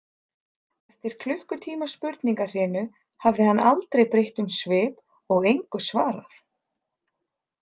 Eftir klukkutíma spurningahrinu hafði hann aldrei breytt um svip og engu svarað.